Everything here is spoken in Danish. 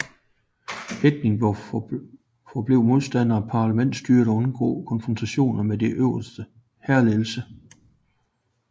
Hertling forblev modstander af parlamentsstyre og undgik konfrontationer med den øverste hærledelse